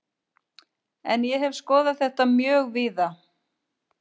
En ég hef skoðað þetta mjög víða.